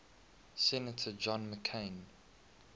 senator john mccain